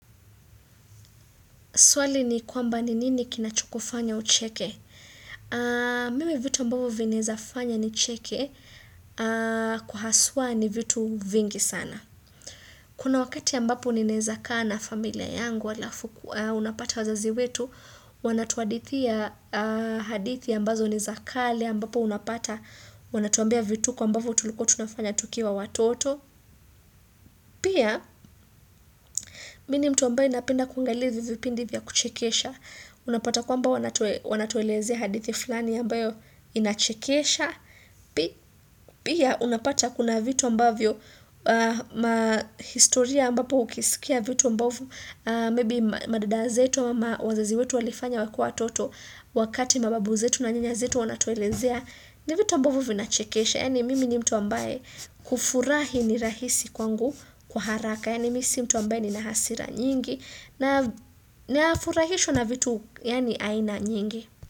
Swali ni kwamba ni nini kinachokufanya ucheke. Mime vitu ambavyo vinawezafanya ni cheke kwa haswa ni vitu vingi sana. Kuna wakati ambapo ninaeza kaa na familia yangu halafu unapata wazazi wetu, wanatuhadithi hadithi ambazo ni za kale ambapo unapata wanatuambia vituko ambavyo tulikuwa tunafanya tukiwa watoto. Pia, mimi ni mtu ambaye anapenda kuangalia vipindi vya kuchekesha. Unapata kwamba wanatuelezea hadithi fulani ambayo inachekesha Pia unapata kuna vitu ambavyo mahistoria ambapo ukisikia vitu ambavyo Maybe madada zetu ama wazazi wetu walifanya wakiwa wtoto wakati mababu zetu na nyanya zetu wanatuelezea ni vitu ambavyo vina chekesha Yani mimi ni mtu ambaye kufurahi ni rahisi kwangu kwa haraka Yani mimi si mtu ambaye ni na hasira nyingi na naafurahishwa na vitu yani aina nyingi.